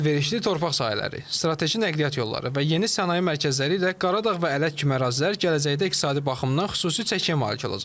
Əlverişli torpaq sahələri, strateji nəqliyyat yolları və yeni sənaye mərkəzləri ilə Qaradağ və Ələt kimi ərazilər gələcəkdə iqtisadi baxımdan xüsusi çəkiyə malik olacaq.